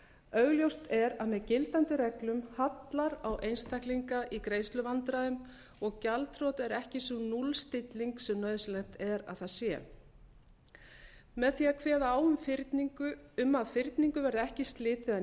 augljóst er að með gildandi reglum hallar á einstaklinga í greiðsluvandræðum og gjaldþrot er ekki sú núllstilling sem nauðsynlegt er að það sé með því að kveða á um að fyrningu verði ekki slitið að